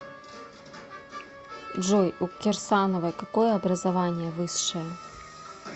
джой у кирсановой какое образование высшее